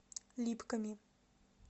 липками